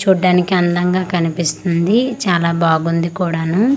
చూడ్డానికి అందంగా కనిపిస్తుంది చాలా బాగుంది కూడాను .